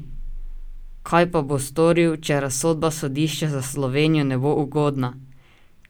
Kaj pa bo storil, če razsodba sodišča za Slovenijo ne bo ugodna?